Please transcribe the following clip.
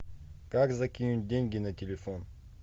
как закинуть деньги на телефон